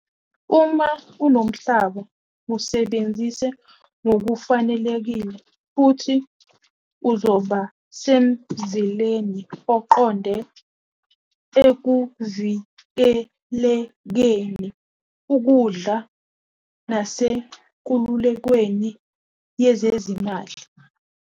Uma unomhlaba wusebenzise ngokufanelekile futhi uzoba semzileni oqonde ekuvikelekeni ukudla nasenkululekweni yezezimali.